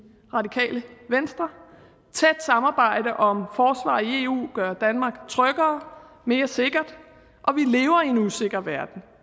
radikale venstre et tæt samarbejde om forsvaret i eu gør danmark tryggere mere sikkert og vi lever i en usikker verden